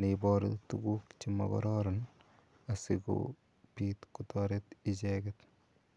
neiboru tukuk chemokororon asikobit kotoret icheket.